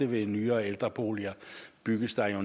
ved nyere ældreboliger bygges der jo